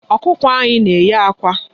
Ọkụkọ anyị na-enye àkwá.